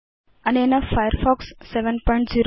अनेन फायरफॉक्स 70